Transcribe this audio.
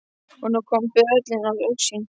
Og nú kom böðullinn í augsýn.